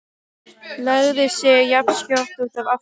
Lagði sig jafnskjótt út af aftur.